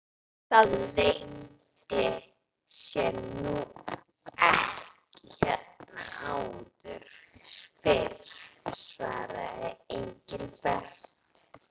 Það leyndi sér nú ekki hérna áður fyrr svaraði Engilbert.